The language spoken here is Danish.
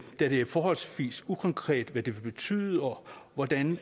det er forholdsvis ukonkret hvad det vil betyde og hvordan